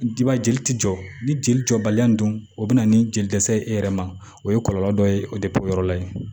jeli tɛ jɔ ni jeli jɔbaliya in dun o bɛ na ni jeli dɛsɛ ye e yɛrɛ ma o ye kɔlɔlɔ dɔ ye o o yɔrɔ la ye